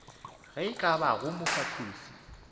ye e ka bago mofahloši